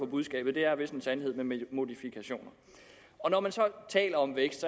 budskabet er vist en sandhed med modifikationer når man så taler om vækst